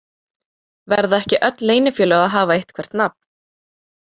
Verða ekki öll leynifélög að hafa eitthvert nafn?